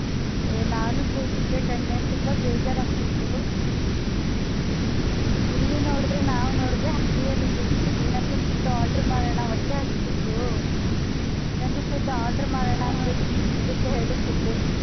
ಹೆ ನಾನು ಕೂತಿದ್ದೆ ಕಣೆ ತುಂಬಾ ಬೇಜಾರ್ ಆಗ್ತಿತ್ತು ಇಲ್ಲಿ ನೋಡುದ್ರೆ ನಾವ್ ನೋಡುದ್ರೆ ಅಂಗ್ಡಿಯಲ್ಲಿದ್ದೀವಿ ಏನಾದ್ರೂ food order ಮಾಡೋಣ ಹೊಟ್ಟೆ ಹಸಿತಿತ್ತು ಏನಾದ್ರೂ food order ಮಾಡೋಣ .